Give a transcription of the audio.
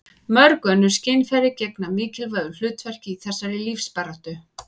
mörg önnur skynfæri gegna mikilvægu hlutverki í þessari lífsbaráttu